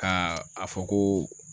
Ka a fɔ ko